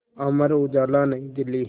Amar Ujala New Delhi